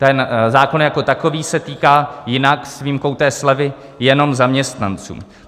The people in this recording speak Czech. Ten zákon jako takový se týká jinak, s výjimkou té slevy, jenom zaměstnanců.